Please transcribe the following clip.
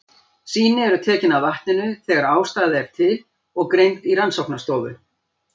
Sýni eru tekin af vatninu þegar ástæða er til og greind í rannsóknarstofu.